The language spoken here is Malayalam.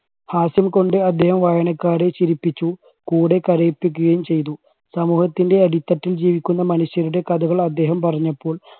ഹാസ്യം കൊണ്ട് അദ്ദേഹം വായനക്കാരെ ചിരിപ്പിച്ചു കൂടെ കരയിപ്പിക്കുകയും ചെയ്തു. സമൂഹത്തിൻറെ അടിത്തട്ടിൽ ജീവിക്കുന്ന മനുഷ്യരുടെ കഥകൾ അദ്ദേഹം പറഞ്ഞപ്പോൾ